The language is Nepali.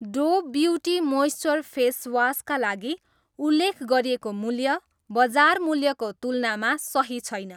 डोभ ब्युटी मोइस्च्योर फेस वास का लागि उल्लेख गरिएको मूल्य बजार मूल्यको तुलनामा सही छैन।